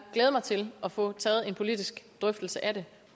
glæde mig til at få taget en politisk drøftelse af det